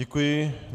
Děkuji.